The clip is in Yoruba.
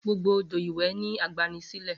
Gbogbo odo iwe ni agbani sile.